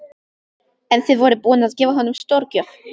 En þið voruð búin að gefa honum stórgjöf.